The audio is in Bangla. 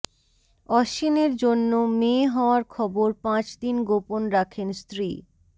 অশ্বিনের জন্য মেয়ে হওয়ার খবর পাঁচ দিন গোপন রাখেন স্ত্রী